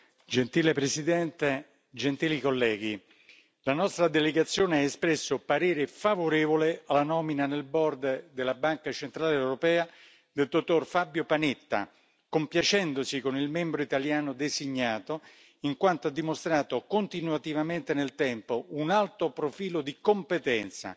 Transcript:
Signora Presidente, onorevoli colleghi, la nostra delegazione ha espresso parere favorevole alla nomina nel della Banca centrale europea del dottor Fabio Panetta, compiacendosi con il membro italiano designato, in quanto ha dimostrato continuativamente nel tempo un alto profilo di competenza,